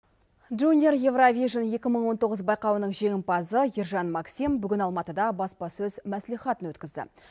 жуниор еуровижн екі мың он тоғыз байқауының жеңімпазы ержан максим бүгін алматыда баспасөз мәслихатын өткізді